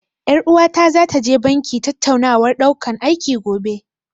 Ƴar uwata zata je banki tattaunawar ɗaukan aiki, gobe.